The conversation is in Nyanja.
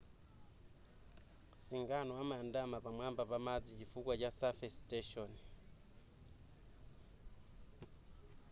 singano amayandama pamwamba pa madzi chifukwa cha surface tension